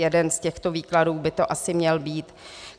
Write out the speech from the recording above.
Jeden z těchto výkladů by to asi měl být.